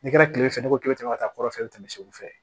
Ne kɛra tile fɛ ne ko k'e bɛ to ka taa kɔrɔfɛ tɛmɛ u fɛ